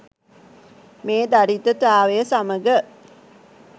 මේ දරිද්‍රතාවය සමග